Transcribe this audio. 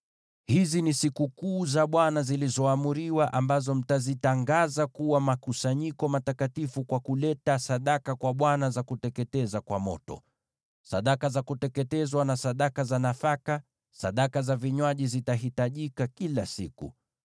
(“ ‘Hizi ni sikukuu za Bwana zilizoamriwa, ambazo mtazitangaza kuwa makusanyiko matakatifu kwa kuleta sadaka kwa Bwana za kuteketeza kwa moto: sadaka za kuteketezwa na sadaka za nafaka, dhabihu na sadaka za vinywaji zitahitajika kila siku.